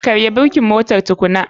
Karya birkin motar tukunan.